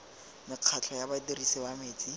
mekgatlho ya badirisi ba metsi